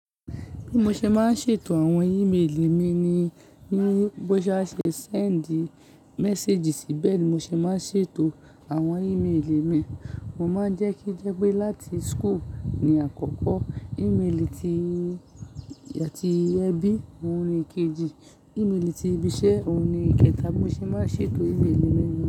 Bí mo ṣe máa ń ṣètò àwọn ìméèlì mi ni bá ṣe ṣe send message sí bẹ́ẹ̀ ni mo ṣe máa ń ṣètò àwọn ìméèlì mi. Mo máa ń jẹ́ kí jẹ́ pé láti school ni àkọ́kọ́, ìméèlì áti ẹbí ohun ni kejì, ìméèlì ti ibiṣẹ́ ohun ni ikẹta bí mo ṣe máa ń ṣètò ìméèlì mi.